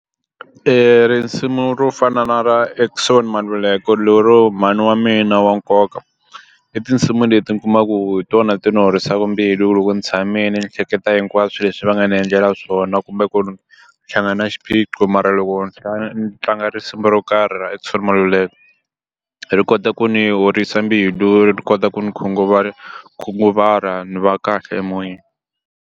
Risimu ro fana na ra Eckson Maluleke lero mhani wa mina wa nkoka i tinsimu leti mi kumaku hi tona ti ni horisaka mbilu hi ku loko ni tshamile ni hleketa hinkwaswo leswi va nga ni endlela swona kumbe ku hlangana na xiphiqo mara loko ni kha ni tlanga risimu ro karhi ra Eckson Maluleka ri kota ku ni horisa mbilu ri kota ku ndzi khunguvara ni va kahle emoyeni.